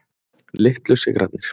Litlu sigrarnir.